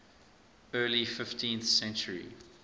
early fifteenth century